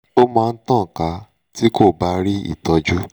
ó máa ń tàn ká tí kò bá rí ìtọ́jú